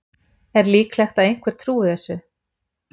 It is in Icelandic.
Er líklegt að einhver trúi þessu?